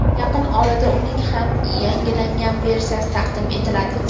Yaqin orada uning ham yangilangan versiyasi taqdim etiladi.